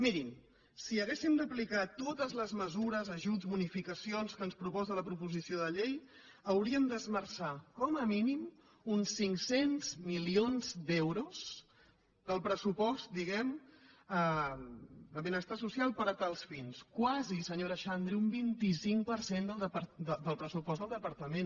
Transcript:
mirin si haguéssim d’aplicar totes les mesures ajuts bonificacions que ens proposa la proposició de llei hauríem d’esmerçar com a mínim uns cinc cents milions d’euros del pressupost diguem·ne de benestar social per a tals fins quasi senyora xan·dri un vint cinc per cent del pressupost del departament